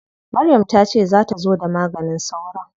Maryam ta ce za ta zo da maganin sauron?